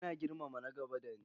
Ina girmama na gaba da ni.